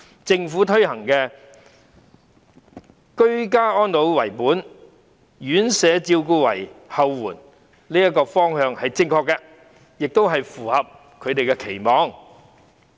政府推行的"居家安老為本，院舍照顧為後援"政策方向是正確的，亦符合長者的期望。